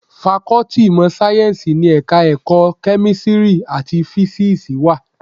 Fakọ́tì ìmọ̀ sáyẹ́ńsì ni Ẹ̀ka-ẹ̀kọ́ Kẹ́mísírì àti Físíìsì wà.